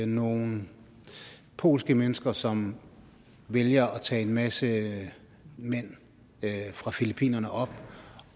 nogle polske mennesker som vælger at tage en masse mænd fra filippinerne op